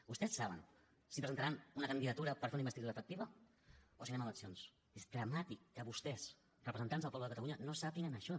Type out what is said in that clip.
vostès saben si presentaran una candidatura per a fer una investidura efectiva o si anem a eleccions és dramàtic que vostès representants del poble de catalunya no sàpiguen això